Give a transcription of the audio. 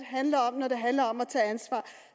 handler om at tage ansvar